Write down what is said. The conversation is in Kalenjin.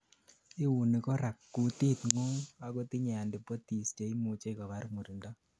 iuni korak gutitngung akotinyei antibodies cheimujei kobar murindo